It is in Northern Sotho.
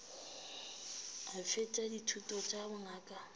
a fetša dithuto tša bongaka